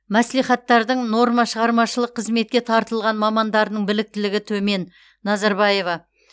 мәслихаттардың нормашығармашылық қызметке тартылған мамандарының біліктілігі төмен назарбаева